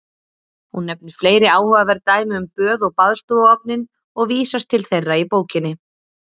Hún nefnir fleiri áhugaverð dæmi um böð og baðstofuofninn og vísast til þeirra í bókinni.